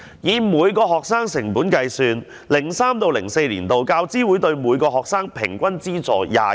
以每名學生成本計算 ，2003-2004 年度，教資會對每名學生的平均資助是萬元。